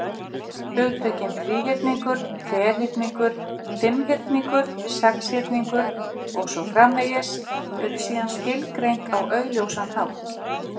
Hugtökin þríhyrningur, ferhyrningur, fimmhyrningur, sexhyrningur, og svo framvegis, eru síðan skilgreind á augljósan hátt.